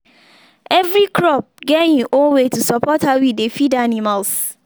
every crop get im own way to support how we dey feed animals.